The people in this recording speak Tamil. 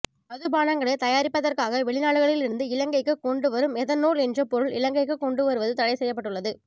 மதுபானங்களை தயாரிப்பதற்காக வெளிநாடுகளில் இருந்து இலங்கைக்கு கொண்டுவரும் எதனோல் என்ற பெருள் இலங்கைக்கு கொண்டு வருவது தடை செய்யப்பட்டுள்ளது